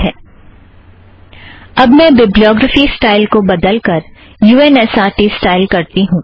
अब मैं bibliography style को बदलकर U N S R T style करती हूँ